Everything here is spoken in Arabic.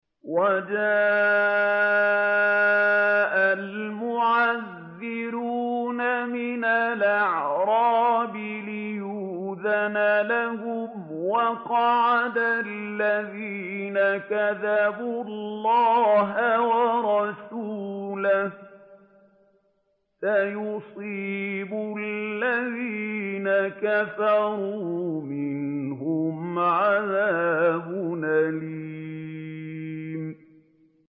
وَجَاءَ الْمُعَذِّرُونَ مِنَ الْأَعْرَابِ لِيُؤْذَنَ لَهُمْ وَقَعَدَ الَّذِينَ كَذَبُوا اللَّهَ وَرَسُولَهُ ۚ سَيُصِيبُ الَّذِينَ كَفَرُوا مِنْهُمْ عَذَابٌ أَلِيمٌ